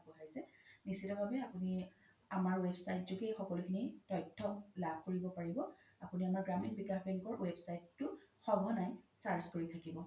নিশ্চিত ভাৱে আপোনি আমাৰ website যোগে এই সকলো খিনি তথ্য লাভ কৰিব পাৰিব আপোনি আমাৰ গ্ৰামীণ বিকাশ বেংকৰ website তো স্ঘনাই search কৰি থাকিব